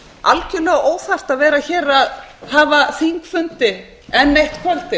algerlega óþarft að vera að hafa þingfundi fram eftir kvöldið